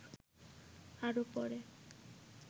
আরো পরে